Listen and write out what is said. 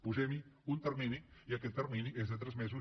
posem hi un termini i aquest termini és de tres mesos